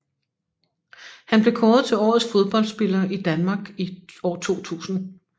Han blev kåret til Årets Fodboldspiller i Danmark i 2000